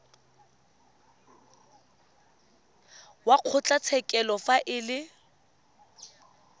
wa kgotlatshekelo fa e le